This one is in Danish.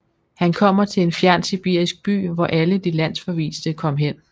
Han kommer til en fjern sibirisk by hvor alle de landsforviste kom hen